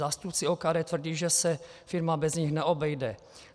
Zástupci OKD tvrdí, že se firma bez nich neobejde.